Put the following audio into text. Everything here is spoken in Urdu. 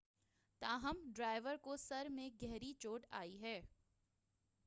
تاہم ڈرائیور کو سر میں گہری چوٹ آئی ہے